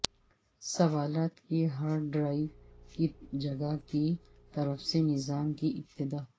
سوالات کی hard drive کی جگہ کی طرف سے نظام کی ابتدا